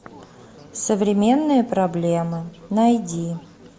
современные проблемы найди